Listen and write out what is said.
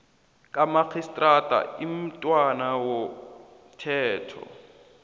kamarhistrada imntwana womthetho